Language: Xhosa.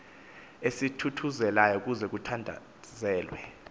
esithuthuzelayo kuze kuthandazelwe